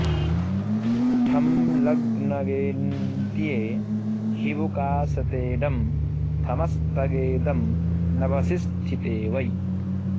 ठं लग्नगेऽन्त्ये हिबुकाश्रिते डं थमस्तगे दं नभसि स्थिते वै